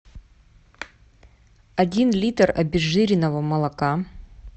один литр обезжиренного молока